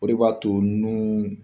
O de b'a to nun